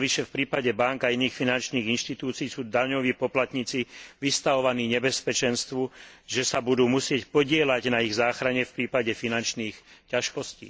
Navyše v prípade bánk a iných finančných inštitúcií sú daňoví poplatníci vystavovaní nebezpečenstvu, že sa budú musieť podieľať na ich záchrane v prípade finančných ťažkostí.